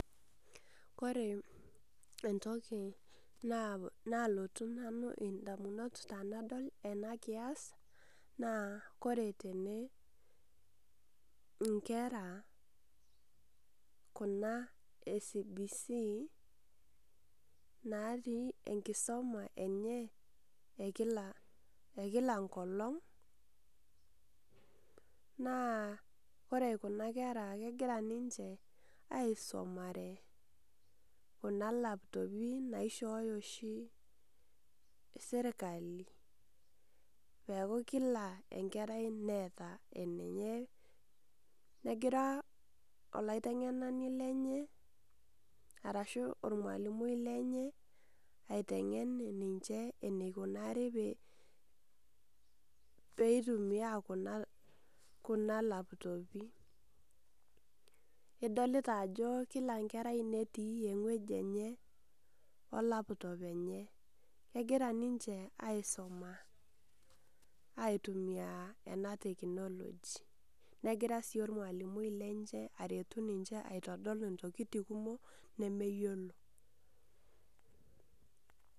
Kore entoki nalotu nanu indamunot tanadol enakias, naa kore tene inkera kuna e CBC, natii enkisoma enye ekila enkolong, naa kore kuna kera kegira ninche aisomare kuna laptopi naishooyo oshi serkali peku kila enkerai neeta enenye. Negira olaiteng'enani lenye arashu ormalimui lenye, aiteng'en ninche eneikunari peitumiai kuna laptopi. Idolita ajo kila enkerai netii ewueji enye o laptop enye. Kegira ninche aisuma aitumia ena technology. Negira si ormalimui lenche aretu ninche aitodol intokiting kumok, nemeyiolo.